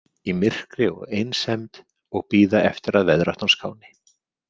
Í myrkri og einsemd og bíða eftir að veðráttan skáni.